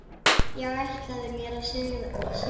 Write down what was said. Ég ætlaði mér að sigra.